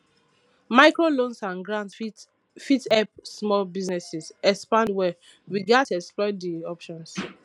microloans and grants fit help small businesses expand well we gats explore di options